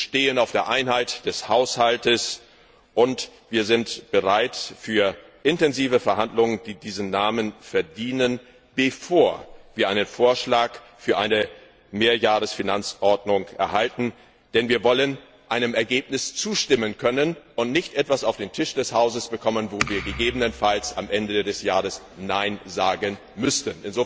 Wir bestehen auf der Einheit des Haushalts, und wir sind bereit für intensive Verhandlungen, die diesen Namen verdienen, bevor wir einen Vorschlag für eine Mehrjahresfinanzordnung erhalten, denn wir wollen einem Ergebnis zustimmen können und nicht etwas auf den Tisch des Hauses bekommen, wo wir gegebenenfalls am Ende des Jahres Nein sagen müssten.